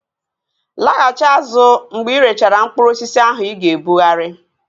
Laghachi azụ mgbe irechara mkpụrụ osisi ahụ ị ga-ebughari!